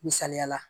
Misaliyala